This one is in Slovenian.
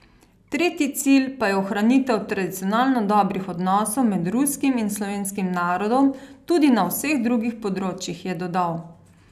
Tretji cilj pa je ohranitev tradicionalno dobrih odnosov med ruskim in slovenskim narodom tudi na vseh drugih področjih, je dodal.